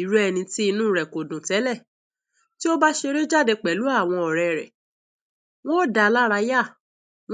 Irú ènìyàn tí inú rẹ.̀ ò dùn tẹ.́lẹ.̀, tí ó bá ṣeré jáde pẹ.̀lú àwọn ọ.̀ rẹ.́ rẹ.̀, wọ́. n dáa ní aráyà.